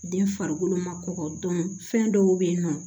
Den farikolo ma kɔkɔ dɔn fɛn dɔw be yen nɔ